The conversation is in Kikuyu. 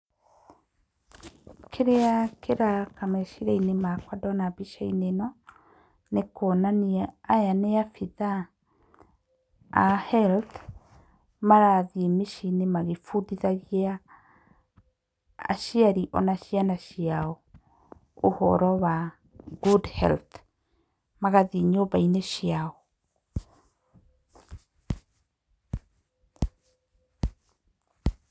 Kĩrĩa kĩroka meciria-inĩ makwa ndona mbica-inĩ ĩno, nĩ kuonania aya nĩ abithaa a health, marathiĩ mĩciĩ-inĩ magĩbundithagia aciari ona ciana ciao ũhoro wa good health magathiĩ nyũmba-inĩ ciao.